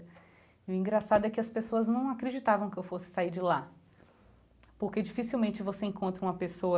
E o engraçado é que as pessoas não acreditavam que eu fosse sair de lá, porque dificilmente você encontra uma pessoa